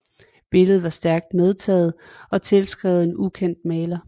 Billedet var stærkt medtaget og tilskrevet en ukendt maler